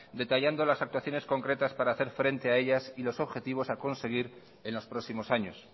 detallando las actuaciones concretas para hacer frente a ellas y los objetivos a conseguir en los próximos años